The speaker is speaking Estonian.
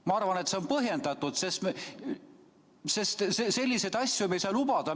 Ma arvan, et see on põhjendatud, sest selliseid asju me ei saa lubada.